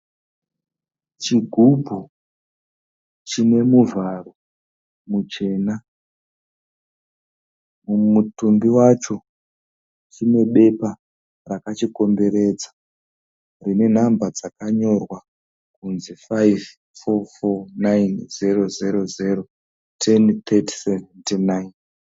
Chigubhu chine muvharo muchena, mutumbi wacho chine bepa rakachikomberedza rine nhamba dzakanyorwa kunzi ' 5449000103079'.